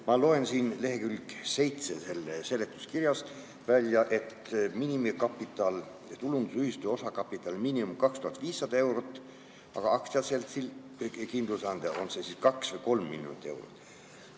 Ma loen seletuskirja leheküljelt 7, et tulundusühistu osakapitali miinimum on 2500 eurot, aga aktsiaseltsil ehk kindlustusandjal on see 2 või 3 miljonit eurot.